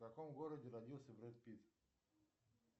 в каком городе родился брэд питт